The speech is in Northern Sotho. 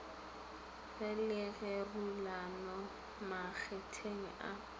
go le kgerulano makgetheng a